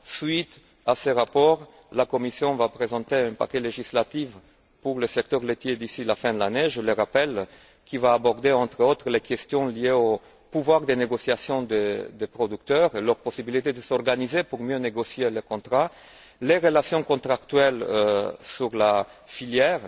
Suite à ce rapport, la Commission va présenter un paquet législatif pour le secteur laitier d'ici la fin de l'année je le rappelle qui va aborder entre autres les questions liées aux pouvoirs de négociation des producteurs et à leurs possibilités de s'organiser pour mieux négocier leurs contrats, et aux relations contractuelles dans la filière.